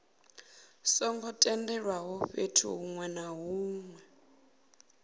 songo tendelwaho fhethu hunwe na